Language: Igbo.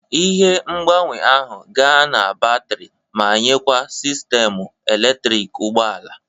Ihe ngbanwe ahụ ga-ana batrị ma nyekwa sistemu eletriki ụgbọ ala.